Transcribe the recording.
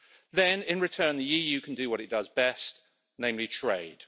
Then, in return, the EU can do what it does best, namely trade.